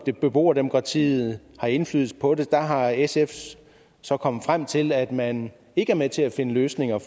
at beboerdemokratiet har indflydelse på det der er sf så kommet frem til at man ikke er med til at finde løsninger